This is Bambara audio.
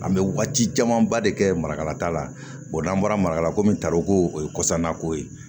An bɛ waati camanba de kɛ marakala ta la n'an bɔrakalako min taroko o ye kɔsanna ko ye